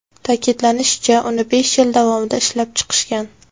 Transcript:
Ta’kidlanishicha, uni besh yil davomida ishlab chiqishgan.